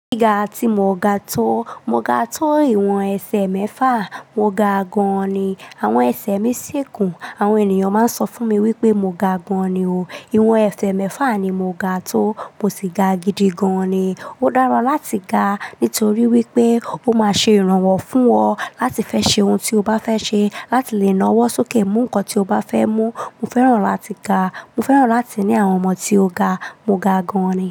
Gíga tí mo ga tó, mo ga tó ìwọ̀n ẹsẹ̀ mẹ́fà. Mo ga gan-an ni. Àwọn ẹsẹ̀ mí sì gún. Àwọn ènìyàn máa ń sọ fún mi wípé mo ga gan-an ni o. Ìwọ̀n ẹsẹ̀ mẹ́fà ni mo ga tó, mo sì ga gidi gan-an ni. Ó dára láti ga nítorí wípé ó máa ṣe ìrànwọ́ fún ọ láti fẹ́ ṣe ohun tí o bá fẹ́ ṣe, láti lè nawọ́ sókè mú nǹkan tí o bá fẹ́ mú. Mo fẹ́ràn láti ga. Mo fẹ́ràn láti ní àwọn ọmọ tí ó ga. Mo ga gan-an ni.